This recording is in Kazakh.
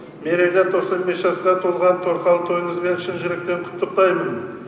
мерейлі тоқсан бес жасқа толған торқалы тойыңызбен шын жүректен құттықтаймын